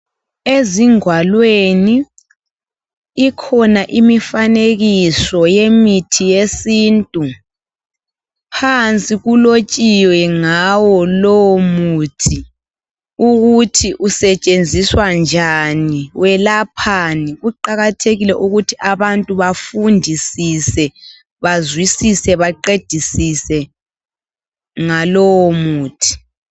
Ezingwalweni, ikhona imifanekiso yemithi yesintu, phansi kulotshiwe ngawo lowomuthi ukuthi usetshenziswa njani, welaphani. Kuqakathekile ukuthi abantu bafundisise, bazwisise baqedisise ngalowomuthi.